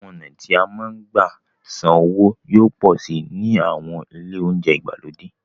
Àwọn ọ̀nà tí a máa ń gbà san owó yóò pọ̀ síi ní àwọn ilé oúnjẹ ìgbàlódé.